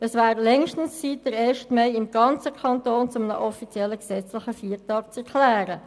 Es wäre längstens an der Zeit, den Ersten Mai im ganzen Kanton zu einem offiziellen gesetzlichen Feiertag zu erklären.